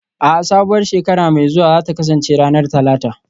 A'a, sabuwar shekara mai zuwa za ta kasance ranar Talata